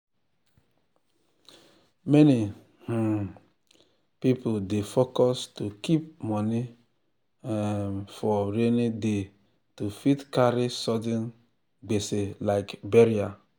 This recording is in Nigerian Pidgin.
many um people dey focus to keep moni um for rainy day to fit carry sudden gbese like burial